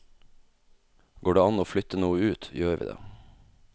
Går det an å flytte noe ut, gjør vi det.